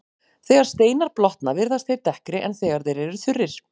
Þegar steinar blotna virðast þeir dekkri en þegar þeir eru þurrir.